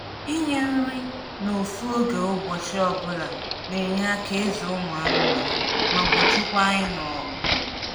ịnye nri na ofu oge ụbọchị ọbula n’enye aka ịzụ ụmụ anụmanụ ma gbochikwa ịnụ ọgụ